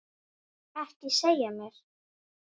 Ekki segja mér